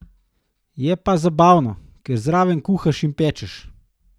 Je pa zabavno, ker zraven kuhaš in pečeš.